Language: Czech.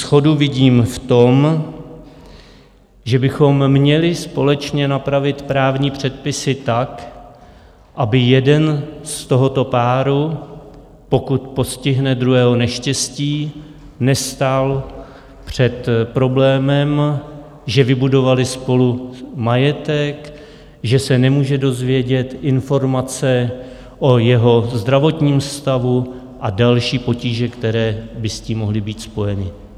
Shodu vidím v tom, že bychom měli společně napravit právní předpisy tak, aby jeden z tohoto páru, pokud postihne druhého neštěstí, nestál před problémem, že vybudovali spolu majetek, že se nemůže dozvědět informace o jeho zdravotním stavu a další potíže, které by s tím mohly být spojeny.